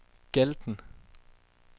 Galten